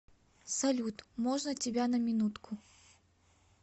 салют можно тебя на минутку